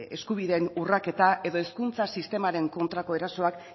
eskubideen urraketa edo hezkuntza sistemaren kontrako erasoak